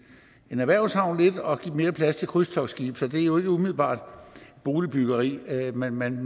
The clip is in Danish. erhvervshavn lidt og give mere plads til krydstogtskibe så det er jo ikke umiddelbart boligbyggeri man man